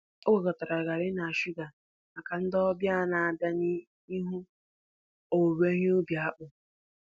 O gwakọtara garri na shuga maka ndị ọbịa na-abịa ịhụ owuwe ihe ubi akpu.